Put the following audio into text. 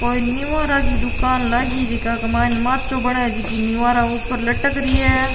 कोई निवारा की दुकान लागी जेका की मईने माचो बनायेडि जेकी निवारा ऊपर लटक री है।